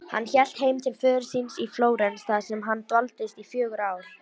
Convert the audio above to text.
Hann hélt heim til föður síns í Flórens þar sem hann dvaldist í fjögur ár.